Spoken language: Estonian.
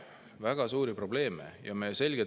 Väga suuri probleeme!